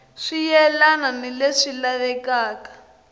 swi yelani ni leswi lavekaka